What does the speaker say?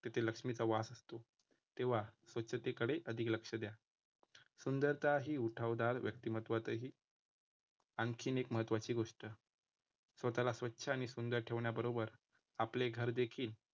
तिथे लक्ष्मीचा वास असतो. तेव्हा स्वच्छतेकडे अधिक लक्ष द्या. सुंदरता ही उठावदार व्यक्तिमत्वातही आणखीन एक महत्त्वाची गोष्ट स्वतःला स्वच्छ आणि सुंदर ठेवण्याबरोबर आपले घर देखील